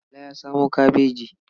Bala ya samo kabaji.